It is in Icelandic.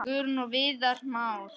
Guðrún og Viðar Már.